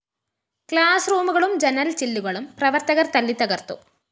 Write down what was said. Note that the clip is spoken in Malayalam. ക്ലാസ്‌ റൂമുകളും ജനല്‍ ചില്ലുകളും പ്രവര്‍ത്തകര്‍ തല്ലിത്തകര്‍ത്തു